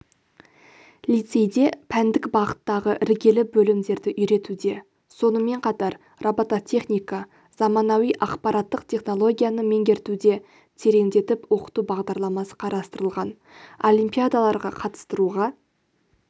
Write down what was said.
лицейде пәндік бағыттағы іргелі бөлімдерді үйретуде сонымен қатар робототехника заманауи ақпараттық технологияны меңгертуде тереңдетіп оқыту бағдарламасы қарастырылған олимпиадаларға қатыстыруға